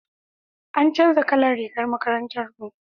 an canja kalan rigar makarantar mu